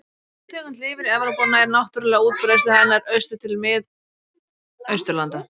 Sú tegund lifir í Evrópu og nær náttúruleg útbreiðsla hennar austur til Mið-Austurlanda.